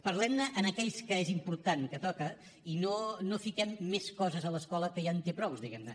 parlem ne en aquells que és important que toca i no fiquem més coses a l’escola que ja en te prou diguem ne